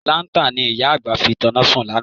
Láńtà ni ìyá àgbà fi tanná sùn lánàá.